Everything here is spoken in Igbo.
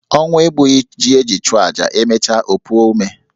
Ọnwụ egbuchughi ji eji chụọ aja, e mecha o puo ome.